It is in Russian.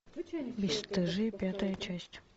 бесстыжие пятая часть